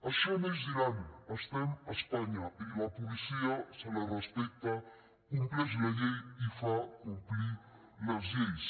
això no és iran estem a espanya i a la policia se la respecta compleix la llei i fa complir les lleis